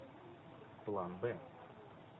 план б